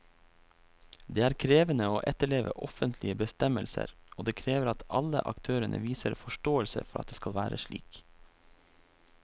Det er krevende å etterleve offentlige bestemmelser, og det krever at alle aktørene viser forståelse for at det skal være slik.